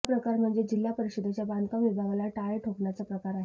हा प्रकार म्हणजे जिल्हा परिषदेच्या बांधकाम विभागाला टाळे ठोकण्याचा प्रकार आहे